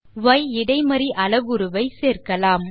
ய் இடைமறி அளவுருவை சேர்க்கலாம்